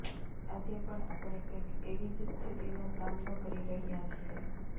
આજે પણ આપણે કંઇક એવી જ સ્થિતિનો સામનો કરી રહ્યા છીએ